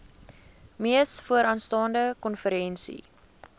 mees vooraanstaande konferensie